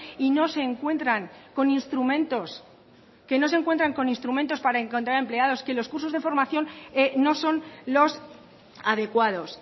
y no se encuentran con instrumentos que no se encuentran con instrumentos para encontrar empleados que los cursos de formación no son los adecuados